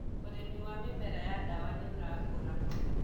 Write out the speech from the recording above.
ũrĩmi wa mĩmera ya ndawa nĩũrakũra.